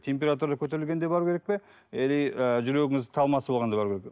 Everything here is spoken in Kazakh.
температура көтерілгенде бару керек пе или ы жүрегіңіз талмасы болғанда бару керек пе